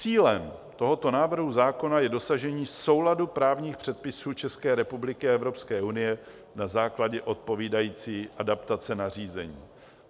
Cílem tohoto návrhu zákona je dosažení souladu právních předpisů České republiky a Evropské unie na základě odpovídající adaptace nařízení.